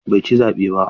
Bai ci zaɓe ba.